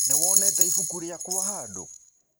Nĩwonete ibũkũ rĩakwa handũ